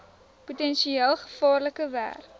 potensieel gevaarlike werk